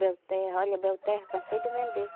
Belterra, olha Belterra, cansei de vender.